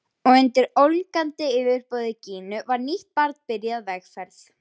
Og undir ólgandi yfirborði Gínu var nýtt barn byrjað vegferð.